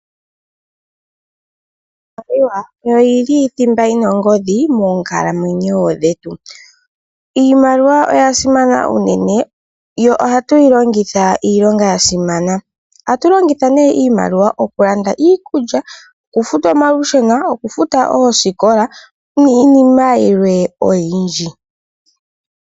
Iimaliwa oyo thimba yina omwenyo monkalamwenyo dhetu. Iimaliwa oyasimana unene yo ohatwiilongitha iilonga yasimana. Iimaliwa ohatwiilanditha iikulya, okufuta omalusheno nokufuta oosikola nayilwe oyindji.